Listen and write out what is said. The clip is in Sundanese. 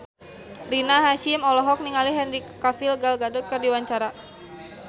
Rina Hasyim olohok ningali Henry Cavill Gal Gadot keur diwawancara